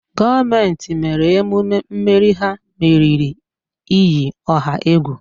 gọọmenti mere emume mmeri ha meriri iyi ọha egwu